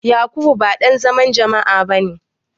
Yakubu ba dan zaman jama'a bane.